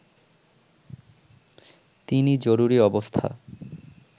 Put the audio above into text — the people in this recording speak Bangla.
তিনি জরুরী অবস্থা